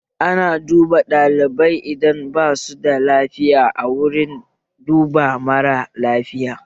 Ana duba ɗalibai idan basu da lafiya a wurin duba marar lafiya